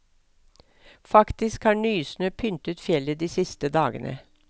Faktisk har nysnø pyntet fjellet de siste dagene.